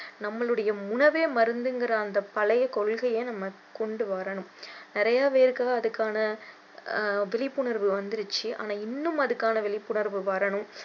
நம்மளுடைய உணவே மருந்து என்கிற அந்த பழைய கொள்கையை நம்ம கொண்டு வரணும் நிறைய பேருக்கு அதுக்கான விழிப்புணர்வு வந்துருச்சி ஆனா இன்னும் அதுக்கான விழிப்புணர்வு வரணும்